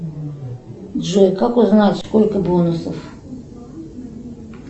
джой как узнать сколько бонусов